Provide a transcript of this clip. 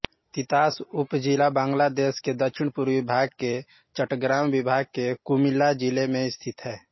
तितास उपजिला बांग्लादेश के दक्षिणपूर्वी भाग में चट्टग्राम विभाग के कुमिल्ला जिले में स्थित है